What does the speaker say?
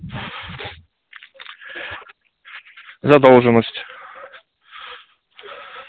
задолженность